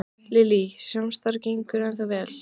Lillý: Samstarf ykkar gengur ennþá vel?